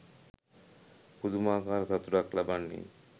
පුදුමාකාර සතුටක් ලබන්නේ.